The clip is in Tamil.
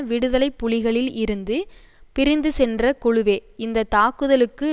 விடுதலை புலிகளில் இருந்து பிரிந்து சென்ற குழுவே இந்த தாக்குதலுக்கு